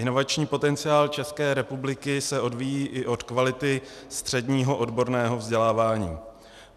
Inovační potenciál České republiky se odvíjí i od kvality středního odborného vzdělávání.